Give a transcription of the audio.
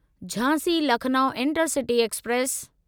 Jhansi Lucknow intercity express